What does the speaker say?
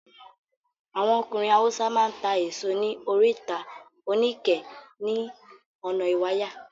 Àwọn ọkùnrin Haúsá máa ń ta èso ní Oríta Oníkẹ̀ẹ́ ní ọ̀nà Ìwàyà.